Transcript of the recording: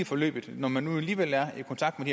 forløbet når man nu alligevel er i kontakt med